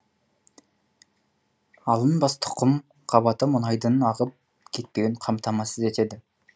алынбас тұқым қабаты мұнайдың ағып кетпеуін қамтамасыз етеді